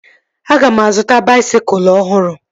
Aga m azụta baisikụl ọhụrụ